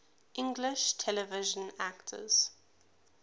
english television actors